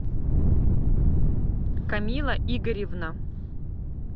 камила игоревна